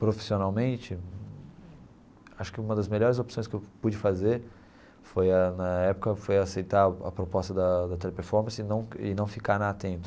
Profissionalmente, acho que uma das melhores opções que eu pude fazer foi a na época foi aceitar a proposta da da Teleperformance e não e não ficar na Atento.